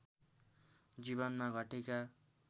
जीवनमा घटेका